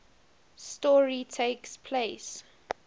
story takes place